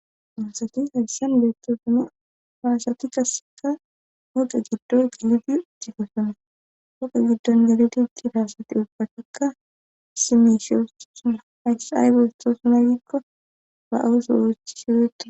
Unsati hayssan beettosane haasati kaseka ooqe giddo giliti digesuna hoqe giddon deli diggi daasati ubbataka simeshiyo suna aysay besto suna gikko ba'awusowechi siweeta.